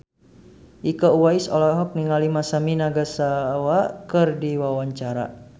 Iko Uwais olohok ningali Masami Nagasawa keur diwawancara